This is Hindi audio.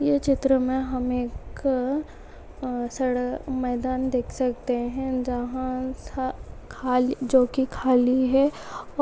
यह चित्र मे हम एक सड़ा मैदान देख सकते है जहा स जो की खाली है।